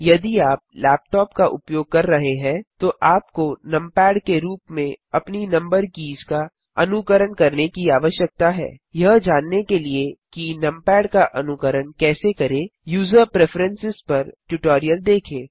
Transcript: यदि आप लेपटॉप का उपयोग कर रहे हैं तो आपको नमपैड के रूप में अपनी नम्बर कीज़ का अनुकरण करने की आवश्यकता है यह जानने के लिए कि नमपैड का अनुकरण कैसे करें यूजर प्रेफरेंस पर ट्यूटोरियल देखें